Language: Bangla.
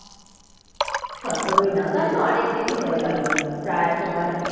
সতেরো নেওয়া তাহলে তো অনেক দিনই হয়ে গেলো প্রায়